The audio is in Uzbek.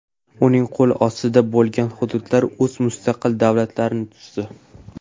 Uning qo‘l ostida bo‘lgan hududlar o‘z mustaqil davlatlarini tuzdi.